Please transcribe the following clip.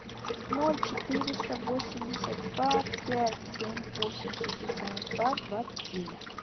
ноль четыреста восемьдесят два пять семь восемь шестьдесят два двадцать девять